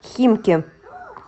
химки